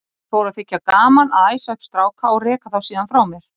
Mér fór að þykja gaman að æsa upp stráka og reka þá síðan frá mér.